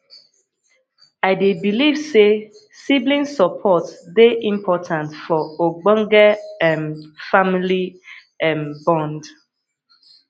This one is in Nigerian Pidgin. i dey believe say sibling support dey important for ogbonge um family um bond